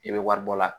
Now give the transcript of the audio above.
I bɛ wari bɔ a la